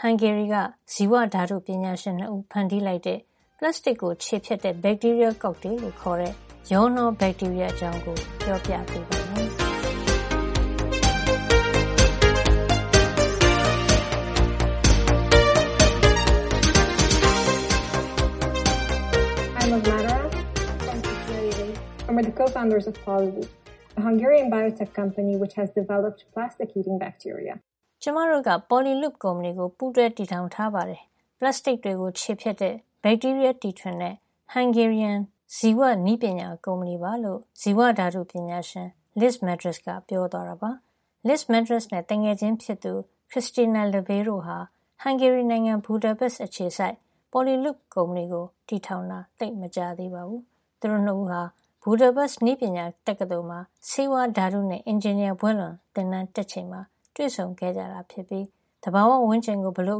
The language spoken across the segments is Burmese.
ဟန်ဂေရီက ဇီဝဓါတုပညာရှင် ၂ ဦး ဖန်တီးလိုက်တဲ့ အကြောင်း ပြောပြပေးပါမယ်။ “ကျမတို့က Poliloop ကုမ္ပဏီကို ပူးတွဲတည်ထောင်ထားပါတယ်။ ပလပ်စတစ်တွေ ခြေဖျက်တဲ့ ဘက်တီးရီးယား တီထွင်တဲ့ ဟန်ဂေရီယန် ဇီဝ- နည်းပညာကုမ္ပဏီပါ” ဇီဝဓါတု ပညာရှင် Liz Madaras က ပြောသွားတာပါ။ Liz Madaras နဲ့သူငယ်ချင်းဖြစ်သူ Krisztina Levay တို့ဟာ ဟန်ဂေရီနိုင်ငံ Budapest အခြေစိုက် Poliloop ကုမ္ပဏီကို တည်ထောင်တာ သိပ်မကြာသေးပါဘူး။ သူတို့ ၂ ဦးဟာ Budapest University of Technology နည်းပညာတက္ကသိုလ်မှာ ဆေးဝါးဓါတုနဲ့ အင်ဂျင်နီယာ ဘွဲ့လွန်တန်းတက်ချိန်မှာ တွေ့ဆုံခဲ့ကြတာ ဖြစ်ပြီး သဘာဝဝန်းကျင်ကို ဘယ်လို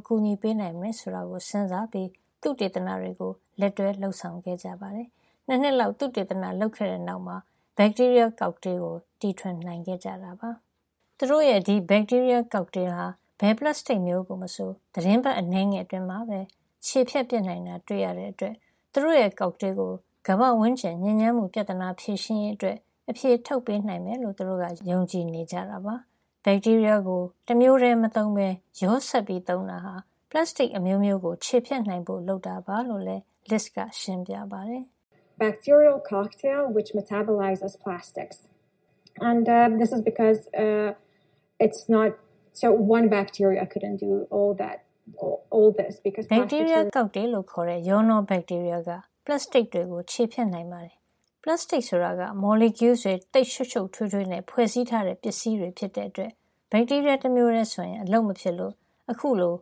အကူညီပေးနိုင်မလဲ ဆိုတာကို စဉ်းစားပြီး သုတေသနတွေ လက်တွဲလုပ်ဆောင်ခဲ့ကြတာပါ။ ၂ နှစ်လောက် သုတေသနလုပ်ခဲ့တဲ့နောက် ဘက်တီးရီးယား ကောက်တေးကို တီထွင်နိုင်ခဲ့ကြပါတယ် သူတို့ရဲ့ ဒီဘက်တီးရီးယား ကောက်တေးဟာ ဘယ်ပလပ်စတစ်မျိုးကို မဆို သီတင်းပတ်အနည်းငယ် အတွင်းမှာပဲ စားပစ်နိုင်တာ တွေ့ရတဲ့ အတွက် သူတို့ရဲ့ ကောက်တေးကို ကမ္ဘာ့ဝန်းကျင်ညစ်ညမ်းမှု ပြဿနာ ဖြေရှင်းရေး အတွက် အဖြေထုတ်ပေးနိုင်မယ် လို့သူတို့က ယုံကြည်နေတာပါ။ ဘက်တီးရီးယား ကို တမျိုးထဲ မသုံးပဲ ရောစပ်ပြီး သုံးတာဟာ ပလပ်စတစ် အမျိုးမျိုးကို ခြေဖျက်နိုင်ဖို့ လုပ်တာပါ လို့လည်း Liz က ရှင်းပြပါတယ်။ “Bacterial cocktail လို့ခေါ်တဲ့ ရောနှော ဘက်တီးရီးယား က ပလပ်စတစ်တွေကို စားနိုင်ပါတယ်။ ပလပ်စတစ်ဆိုတာက မော်လီကျူးတွေ သိပ်ရှုပ်ရှုပ်ထွေးထွေးနဲ့ ဖွဲ့စည်းထားတဲ့ ပစ္စည်းတွေ ဖြစ်တဲ့အတွက် ဘက်တီးရီးယား တမျိုးထဲဆိုရင် အလုပ်မဖြစ်လို့ အခုလို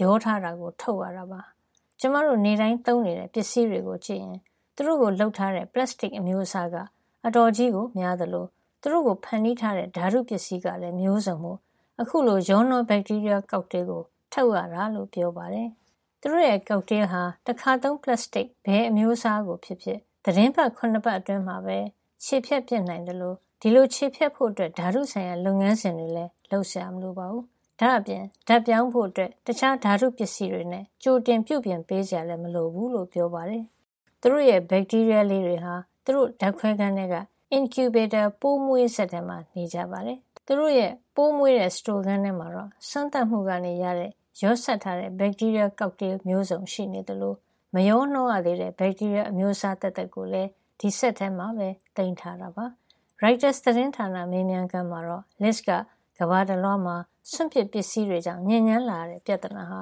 ရောထားတာကို ထုတ်ရတာပါ။ ကျမတို့ နေ့တိုင်းသုံးနေတဲ့ ပစ္စည်းတွေကို ကြည့်ရင် သူတို့ကိုလုပ်ထားတဲ့ ပလပ်စတစ် အမျိုးအစားက အတော်ကြီးကို များ သလို သူတို့ကိုဖန်တီးထားတဲ့ ဓါတ်ပစ္စည်းကလည်း မျိုးစုံမို့ ခုလို ရောနှော ဘက်တီးရီးယား ကောက်တေးကို ထုတ်ရတာပါ။” သူတို့ရဲ့ ကောက်တေးဟာ တခါသုံး ပလပ်စတစ် ဘယ်အမျိုးအစားကို ဖြစ်ဖြစ် သီတင်းပတ် ၇ ပတ်အတွင်းမှာပဲ စားပစ်နိုင်သလို ဒီလို ခြေဖျက်ဖို့ အတွက် ဓါတုဆိုင်ရာ လုပ်ငန်းစဉ်တွေ လုပ်စရာမလိုပါဘူး။ ဒါ့အပြင် ဓါတ်ပြောင်းဖို့ တခြား ဓါတုပစ္စည်းတွေနဲ့ ကြိုတင်ပြုပြင်ပေး စရာလည်း မလိုဘူးလို့လည်း ပြောပါတယ်။ သူတို့ရဲ့ ဘက်တီးရီးယားလေးတွေဟာ သူတို့ ဓါတ်ခွဲခန်းထဲက incubator ပိုးမွေးစက် ထဲမှာ နေကြပါတယ်။ သူတို့ရဲ့ ပိုးမွေးတဲ့ စတိုခန်းထဲမှာတော့ စမ်းသပ်မှုကနေ ရတဲ့ ရောစပ်ထားတဲ့ ဘက်တီးရီးယား ကောက်တေးမျိုးစုံ ရှိသလို မရောနှောရသေးတဲ့ ဘက်တီးရီးယား အမျိုးစား သက်သက်ကိုလည်း ဒီစက်ထဲမှာပဲ သိမ်းထားတာပါ။ ရိုက်တာ သတင်းဌာနမေးမြန်းခန်းမှာ Liz က ကမ္ဘာတလွှားမှာ စွန့်ပစ် ပလပ်စတစ်တွေကြောင့် ညစ်ညမ်းလာရတဲ့ ပြဿနာဟာ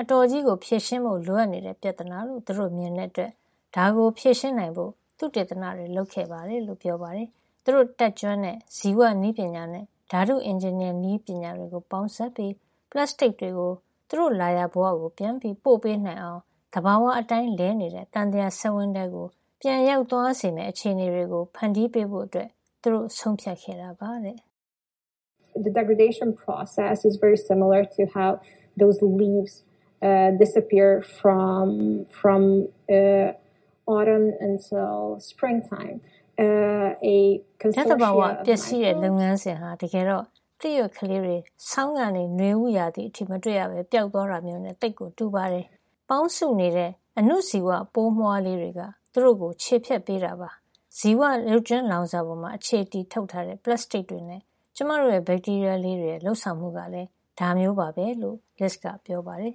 အတော်ဖြေရှင်းဖို့ လိုအပ်နေတဲ့ ပြဿနာလို့ သူတို့မြင်တဲ့ အတွက် ဒါကို ဖြေရှင်းနိုင်ဖို့ သုတေသနတွေ လုပ်ခဲ့တယ်လို့ ပြောပါတယ်။ သူတို့ တတ်ကျွမ်းတဲ့ ဇီဝနည်းပညာနဲ့ ဓါတုအင်ဂျင်နီယာနည်းပညာတွေကို ပေါင်းပြီး ပလပ်စတစ်တွေကို သူတို့လာရာဘဝကို ပြန်ပြီး ပို့ပေးနိုင်အောင် သဘာဝအတိုင်း လည်နေတဲ့ သံသရာ စက်ဝန်းထဲ ပြန်ရောက်သွားစေမယ့် အခြေနေတွေကို ဖန်တီးပေးဖို့ သူတို့ ဆုံးဖြတ်ခဲ့တာပါတဲ့။ “ ဓါတ်သဘာဝ ပျက်စီးတဲ့ လုပ်ငန်းစဉ်ဟာ တကယ်တော့ သစ်ရွက်လေးတွေ ဆောင်းကနေ နွေဦးရာသီအထိ မတွေ့ရပဲ ပျောက်သွားတာမျိုးနဲ့ သိပ်ကိုတူပါတယ်။ ပေါင်းစုနေတဲ့ အဏုဇီဝ ပိုးမွှားလေးတွေ က သူတို့ကို ခြေဖျက်ပေးတာပါ။ ဇီဝရုပ်ကြွင်းလောင်စာပေါ် အခြေတည်ထုတ်ထားတဲ့ ပလပ်စတစ်တွေ နဲ့ ကျမတို့ရဲ့ ဘက်တီးရီးယား လေးတွေရဲ့ လုပ်ဆောင်မှုကလည်း ဒါမျိုးပါပဲ” လို့ Liz က ပြောပါတယ်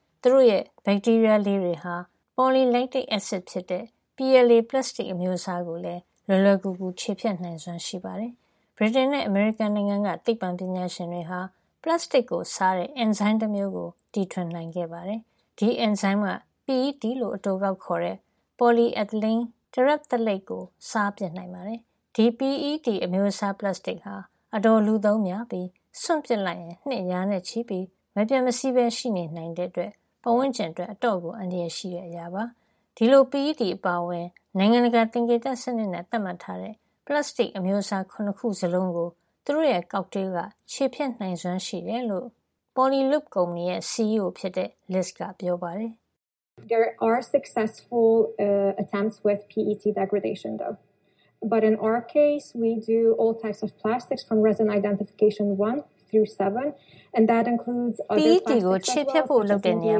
။ သူတို့ရဲ့ ဘက်တီးရီးယား လေးတွေဟာ Polylactic acid ဖြစ်တဲ့ PLA ပလပ်စတစ် အမျိုးအစားကိုလည်း လွယ်လွယ်ကူကူ ခြေဖျက်နိုင်စွမ်း ရှိပါတယ်။ ဗြိတိန်နဲ့ အမေရိကန်က သိပ္ပံပညာရှင်တွေဟာ ပလပ်စတစ်ကို စားတဲ့ အင်ဇိုင်းတမျိုးကို ထွင်နိုင်ခဲ့ပါတယ်။ ဒီအင်ဇိုင်းက PET လို့ အတိုကောက်ခေါ်တဲ့ poly ethylene terephthalate ကို စားပစ်နိုင်ပါတယ်။ ဒီ PET အမျိုးအစား ပလပ်စတစ်ဟာ အတော်လူသုံးများပြီး စွန့်ပစ်လိုက်ရင် နှစ် ရာနဲ့ချီပြီး မပျက်မစီးရှိနေနိုင်တဲ့ အတွက် ပတ်ဝန်းကျင်အတွက် အတော် အန္တရာယ် ရှိတဲ့ အရာပါ။ ဒီလို PET အပါအဝင် နိုင်ငံတကာ သင်္ကေတ စံနစ်နဲ့ သတ်မှတ်ထားတဲ့ ပလပ်စတစ်အမျိုးအစား ၇ ခု စလုံးကို သူတို့ ကောက်တေးက ခြေဖျက်နိုင်စွမ်းရှိတယ်လို့ Poli loop ရဲ့ CEO - Liz က ပြောပါတယ်။ “ PET ကို ခြေဖျက်ဖို့ လုပ်တဲ့နေရာ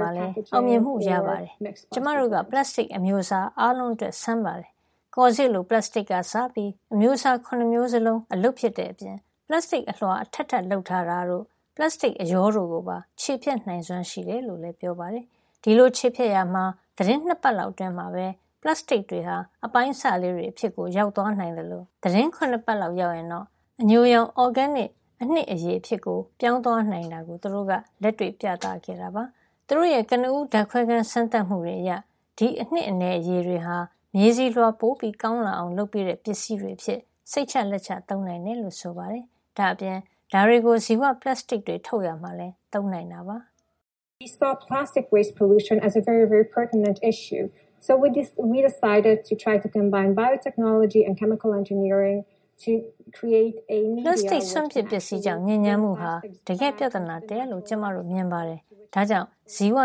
မှာလည်း အောင်မြင်မှု ရပါတယ်။ ကျမတို့က ပလပ်စတစ် အမျိုးအစား အားလုံးအတွက်စမ်းပါတယ်။ ကော်စေ့လို ပလပ်စတစ်ကစပြီး အမျိုးစား ၇ မျိုးစလုံးအလုပ်ဖြစ်တဲ့အပြင် ပလပ်စတစ် အလွှာအထပ်ထပ် လုပ်ထားတာတို့၊ ပလပ်စတိတ်အရောတို့ ကိုပါ ခြေဖျက်နိုင်စွမ်းရှိတယ်” လို့ လည်း ပြောပါတယ်။ ဒီလို ခြေဖျက်ရာမှာ သီတင်းပတ် ၂ ပတ်လောက်အတွင်းမှာပဲ ပလပ်စတစ်တွေဟာ အပိုင်းအစတွေ အဖြစ်ကို ရောက်သွားနိုင်သလို သီတင်းပတ် ၇ ပတ်ရောက်ရင်တော့ အညိုရောင် အော်ဂဲနစ် အနည်အနှစ်ရည် အဖြစ်ကို ပြောင်းသွားနိုင်တာကို သူတို့က လက်တွေ့ ပြသခဲ့ပါတယ်။ သူတို့ရဲ့ ကနဦး ဓါတ်ခွဲခန်း စမ်းသပ်မှုတွေ အရ ဒီအနည်အနှစ်ရည်တွေဟာ မြေဆီလွှာပို ကောင်းလာအောင် လုပ်ပေးတဲ့ ပစ္စည်းတွေ အဖြစ် စိတ်ချလက်ချ သုံးနိုင်တယ်လို့ ဆိုပါတယ်။ ဒါ့အပြင် ဒါတွေကို ဇီဝပလပ်စတစ်တွေ ထုတ်ရာမှာလည်း သုံးနိုင်ပါတယ်။ “ပလပ်စတစ်စွန့်ပစ်ပစ္စည်း ကြောင့်ညစ်ညမ်းမှုဟာ တကယ့်ပြဿနာတရပ်လို့ ကျမတို့ မြင်ပါတယ်။ ဒါကြောင့် ဇီဝ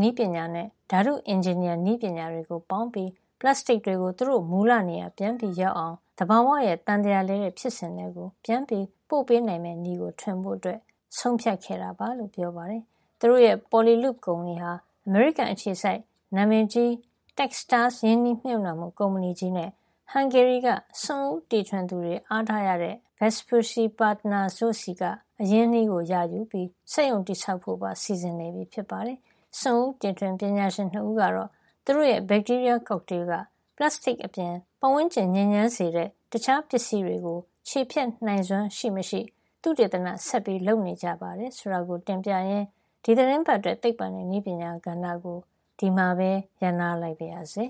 နည်းပညာနဲ့ ဓါတုအင်ဂျင်နီယာနည်းပညာတွေ ပေါင်းပြီး ပလပ်စတစ်တွေကို သူတို့မူလ နေရာ ပြန်ရောက်အောင် သဘာဝရဲ့ သံသရာလည်တဲ့ ဖြစ်စဉ်ထဲ ပြန်ပို့ပေးနိုင်မယ့် နည်းကို ထွင်ဖို့ ဆုံးဖြတ်ခဲ့တာပါ။” သူတို့ရဲ့ Poliloop ကုမ္ပဏီဟာ အမေရိကန်အခြေစိုက် နာမည်ကြီး Techstars ရင်းနှီးမြှုပ်နှံမှု ကုမ္ပဏီကြီးနဲ့ ဟန်ဂေရီက စွန့်ဦးတီထွင်သူတွေ အားထားရတဲ့ Vespucci Partners တို့ဆီက အရင်းအနှီး ရယူပြီး စက်ရုံတည်ဆောက် ဖို့ပါ စီစဉ်နေပြီဖြစ်ပါတယ်။ စွန့်ဦးတီထွင် ပညာရှင် ၂ ဦးကတော့ သူတို့ရဲ့ ဘက်တီးရီးယား ကောက်တေးက ပလပ်စတစ်အပြင် ဝန်းကျင်ညစ်ညမ်းစေတဲ့ တခြားပစ္စည်းတွေကို ခြေဖျက်နိုင်စွမ်း ရှိမရှိ သုတေသန ဆက်လုပ်နေကြတယ် ဆိုတာကို တင်ပြရင်း ဒီသီတင်းပတ်အတွက် သိပ္ပွံနဲ့နည်းပညာ ကဏ္ဍကို ဒီမှာပဲ ရပ်နားလိုက်ပါရစေ